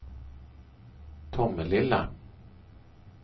Tomelilla